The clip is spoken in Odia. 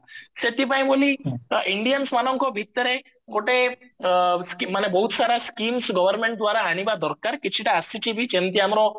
ସେଥିପାଇଁ ବୋଲି indians ମାନଙ୍କ ଭିତରେ ଗୋଟେ ମାନେ ବହୁତ ସାରା schemes government ଦ୍ଵାରା ଆଣିବା ଦରକାର କିଛିଟା ଆସିଛି ବି ଯେମତି ଆମର